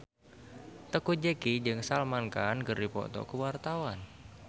Teuku Zacky jeung Salman Khan keur dipoto ku wartawan